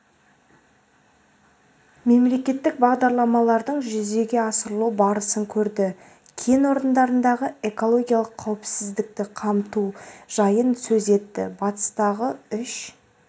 мемлекеттік бағдарламалардың жүзеге асырылу барысын көрді кен орындарындағы экологиялық қауіпсіздікті қамту жайын сөз етті батыстағы үш